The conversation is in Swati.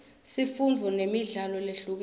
sifundzo nemidlalo lehlukile